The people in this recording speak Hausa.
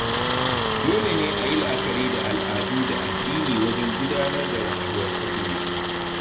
Dole ne a yi la'akari da al'adu da addini wajen gudanar da rayuwar aure.